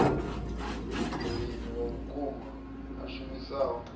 mulimi wa vhukuma a shumisaho